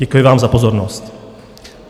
Děkuji vám za pozornost.